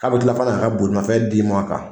K'a bi kila fɛnɛ ka ka bolimafɛn d'i ma a kan.